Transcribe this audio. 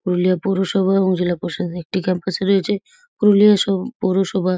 পুরুলিয়া পৌরসভা এবং জেলা পরিষদের একটি ক্যাম্পাস রয়েছে। পুরুলিয়া স পৌরসভা--